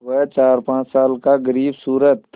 वह चारपाँच साल का ग़रीबसूरत